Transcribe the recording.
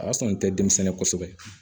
O y'a sɔrɔ n tɛ denmisɛnnin kosɛbɛ